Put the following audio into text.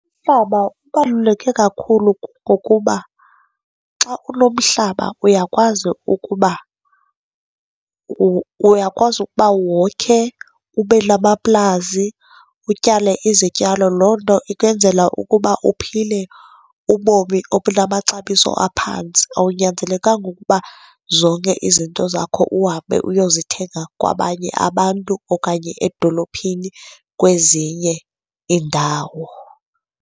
Umhlaba ubaluleke kakhulu, kungokuba xa unomhlaba uyakwazi ukuba, uyakwazi ukuba wokhe, ube namaplazi, utyale izityalo, loo nto ikwenzela ukuba uphile ubomi obunamaxabiso aphantsi. Akunyanzelekanga ukuba zonke izinto zakho uhambe uyozithenga kwabanye abantu okanye edolophini kwezinye iindawo.